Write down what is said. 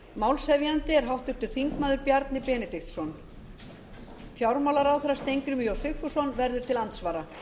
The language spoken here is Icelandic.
málshefjandi er háttvirtur þingmaður bjarni benediktsson fjármálaráðherra steingrímur j sigfússon verður til andsvara